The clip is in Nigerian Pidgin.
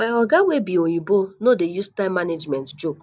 my oga wey be oyimbo no dey use time management joke